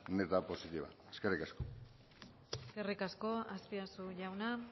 neta positiva eskerrik asko eskerrik asko azpiazu jauna